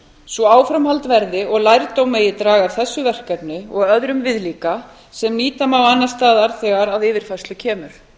svo áframhald verði og lærdóm megi draga af þessu verkefni og öðrum viðlíka sem nýta má annars staðar þegar að yfirfærslu kemur